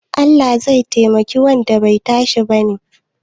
Allah zai taimaki wanda bai tashi bane?